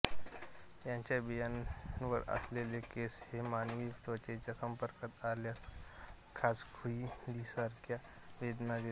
याच्या बियांवर असलेले केस हे मानवी त्वचेच्या संपर्कात आल्यास खाजकुयलीसारख्या वेदना देतात